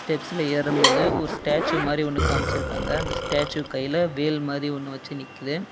ஸ்டெப்ஸ்ல ஏறும்போது ஒரு ஸ்டேச்சு மாரி ஒன்னு கமச்சிருக்காங்க அந்த ஸ்டேச்சு கைல வேல் மாரி ஒன்னு வச்சு நிக்குது.